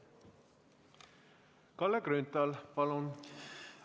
Kalle Grünthal, palun!